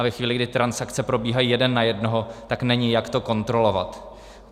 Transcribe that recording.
A ve chvíli, kdy transakce probíhají jeden na jednoho, tak není, jak to kontrolovat.